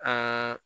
Ɛɛ